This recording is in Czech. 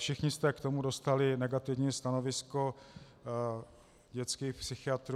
Všichni jste k tomu dostali negativní stanovisko dětských psychiatrů.